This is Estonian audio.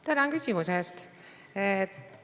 Tänan küsimuse eest!